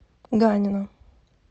ганина